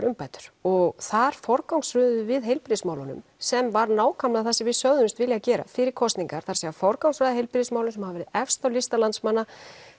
umbætur og þar forgangsröðuðum við heilbrigðismálum sem var nákvæmlega það sem við sögðumst vilja gera fyrir kosningar það er að forgangsraða heilbrigðismálum sem hafa verið efst á lista landsmanna